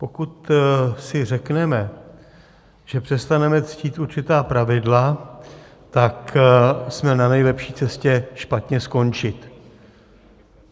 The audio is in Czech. Pokud si řekneme, že přestaneme ctít určitá pravidla, tak jsme na nejlepší cestě špatně skončit.